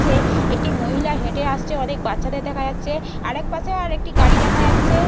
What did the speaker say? চ্ছে একটি মহিলা হেঁটে আসছে। অনেক বাচ্চাদের দেখা যাচ্ছে আর একপাশে আরেকটি গাড়ি দেখা যাচ্ছে।